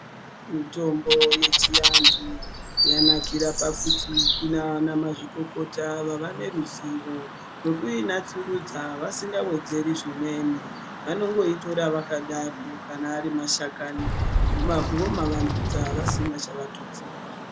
Mitombo yechiantu yanakira pakuti kuna vanamazvikokota vava neruzivo rwekuinatsurudza vasingawedzeri zvimweni vanongoitora yakadaro kana ari mashakani vomavandudza vasina chavatutsira.